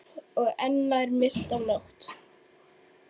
Og enn nær myrkt af nótt.